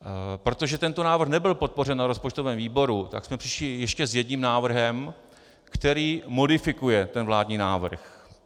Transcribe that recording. Protože tento návrh nebyl podpořen v rozpočtovém výboru, tak jsme přišli ještě s jedním návrhem, který modifikuje ten vládní návrh.